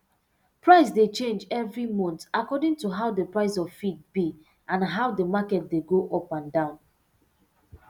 price dey change evri month according to how d price of feed be and how d market dey go up and down